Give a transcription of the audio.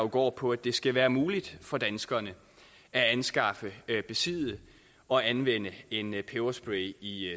går på at det skal være muligt for danskerne at anskaffe besidde og anvende en peberspray i